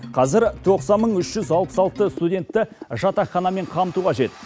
қазір тоқсан мың үш жүз алпыс алты студентті жатақханамен қамту қажет